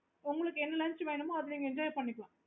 உங்களுக்கு என்ன lunch வேணுமோ அதா நீங்க enjoy பண்ணிக்கலாம்